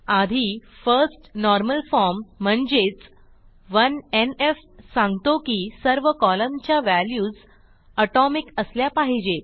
आधी first normal form म्हणजेच 1एनएफ सांगतो की सर्व कॉलमच्या व्हॅल्यूज एटोमिक असल्या पाहिजेत